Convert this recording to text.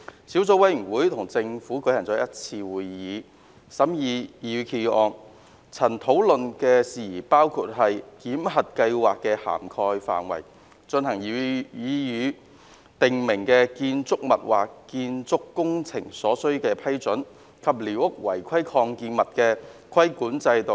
小組委員會與政府當局舉行了一次會議，以審議擬議決議案，曾討論的事宜包括檢核計劃的涵蓋範圍、進行擬議訂明建築物或建築工程所需的批准，以及寮屋違規擴建物的規管制度。